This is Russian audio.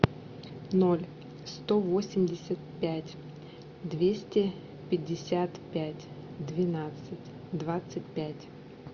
ноль сто восемьдесят пять двести пятьдесят пять двенадцать двадцать пять